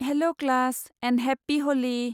Hello class, and happy हलि!